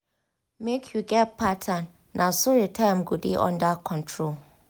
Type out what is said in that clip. make you get pattern na so your time go dey under control.